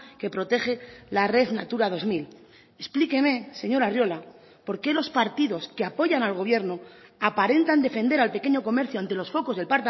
que protege la red natura dos mil explíqueme señor arriola por qué los partidos que apoyan al gobierno aparentan defender al pequeño comercio ante los focos del